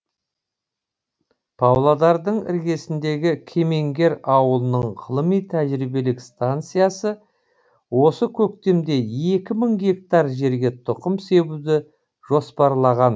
павлодардың іргесіндегі кемеңгер ауылының ғылыми тәжірибелік станциясы осы көктемде екі мың гектар жерге тұқым себуді жоспарлаған